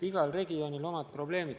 Igal regioonil on omad probleemid.